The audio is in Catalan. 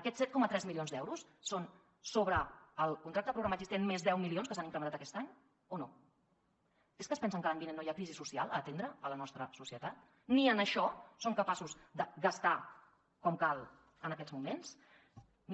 aquests set coma tres milions d’euros són sobre el contracte programa existent més deu milions que s’han incrementat aquest any o no és que es pensen que l’any vinent no hi ha crisi social a atendre a la nostra societat ni en això són capaços de gastar com cal en aquests moments